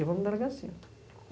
Eu vou na delegacia.